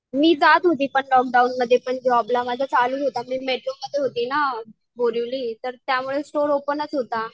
मी जात होती पण लोकडाऊनमध्ये पण जॉबला माझा चालूच होता मी मध्ये होती ना, बोरिवली त्यामुळे स्टोर ओपनच होता.